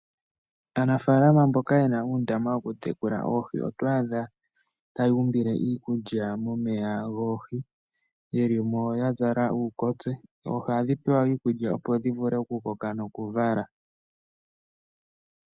Aanafalama mboka ye na uundama wokutekula oohi oto adha taya umbile iikulya momeya goohi, ye li mo ya zala uukotse. Oohi ohadhi pewa iikulya, opo dhi vule okukoka nokuvala.